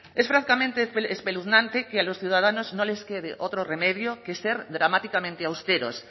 es francamente espeluznante que a los ciudadanos no les quede otro remedio que ser dramáticamente austeros